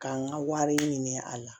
K'an ka wari ɲini a la